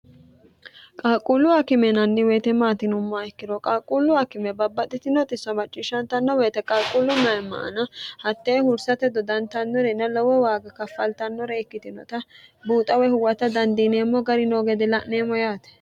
qaqquullu akime yinanni woyite maati yinummoha ikkiro qaaqquullu akime babbaxxitino xisso macciishshatanno woyite qalquullu mayima aana hattee hursate dodantannorina lowo waaga kaffaltannore ikkitinota buuxa woy huwata dandiineemmo gari noo gede la'neemmo yaate